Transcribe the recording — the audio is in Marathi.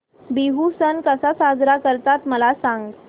बिहू सण कसा साजरा करतात मला सांग